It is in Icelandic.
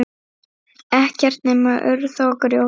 Ekkert nema urð og grjót.